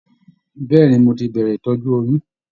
Bẹ̀ẹ́ni, mo tí bẹrẹ ìtọjú oyún.